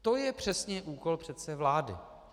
To je přesně úkol přece vlády.